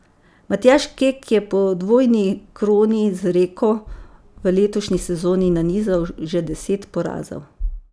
Matjaž Kek je po dvojni kroni z Rijeko v letošnji sezoni nanizal že deset porazov.